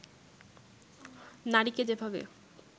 নারীকে যেভাবে